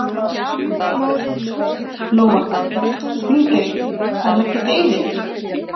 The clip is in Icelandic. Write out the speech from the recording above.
Lóa: Þingeyri, bara leggjast í eyði?